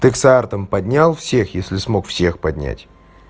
пиксартом поднял всех если смог всех поднять